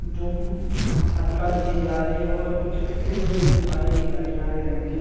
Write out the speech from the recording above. --जो मटका लिए जा रहे है ऊपर कुछ भी पेड़ भी दिखाई दे रहे है हरे रंग के--